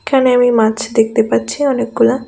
এখানে আমি মাছ দেখতে পাচ্ছি অনেকগুলা.